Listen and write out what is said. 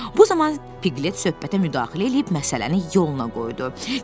Bu zaman Piqlet söhbətə müdaxilə eləyib məsələni yoluna qoydu.